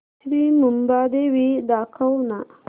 श्री मुंबादेवी दाखव ना